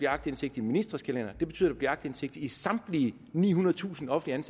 aktindsigt i ministres kalendere det betyder at der bliver aktindsigt i samtlige nihundredetusind offentligt